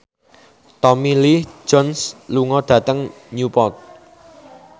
Tommy Lee Jones lunga dhateng Newport